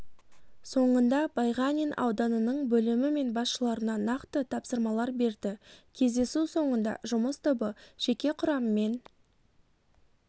соңында байғанин ауданының бөлімі мен басшыларына нақты тапсырмалар берді кездесу соңында жұмыс тобы жеке құраммен